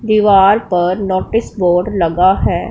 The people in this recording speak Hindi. दीवार पर नोटिस बोर्ड लगा है।